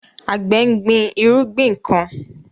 Àgbẹ̀ ń gbin irúgbìn kan